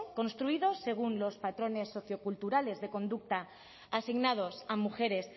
construidos según los patrones socioculturales de conducta asignados a mujeres